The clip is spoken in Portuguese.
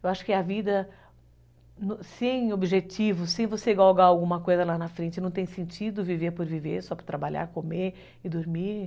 Eu acho que a vida sem objetivos, sem você galgar alguma coisa lá na frente, não tem sentido viver por viver, só para trabalhar, comer e dormir.